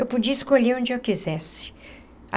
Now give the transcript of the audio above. Eu podia escolher onde eu quisesse.